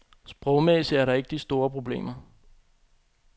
Sprogmæssigt er der ikke de store problemer.